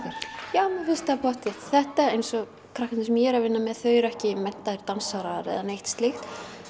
já mér finnst það pottþétt þetta eins og krakkarnir sem ég er að vinna með þau eru ekki menntaðir dansarar eða neitt slíkt